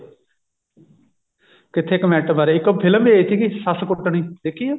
ਕਿੱਥੇ comment ਮਾਰਿਆ ਇੱਕ ਉਹ film ਵੀ ਆਈ ਸੀਗੀ ਸੱਸ ਕੁਟਣੀ ਦੇਖੀ ਆ